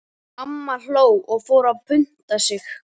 Amma hló og fór að punta sig.